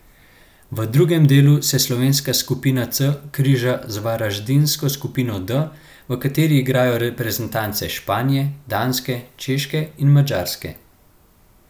V drugem delu se slovenska skupina C križa z varaždinsko skupino D, v kateri igrajo reprezentance Španije, Danske, Češke in Madžarske.